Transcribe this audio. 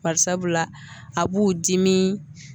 Barisabula a b'u dimi